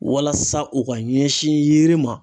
Walasa u ka ɲɛsin yiri ma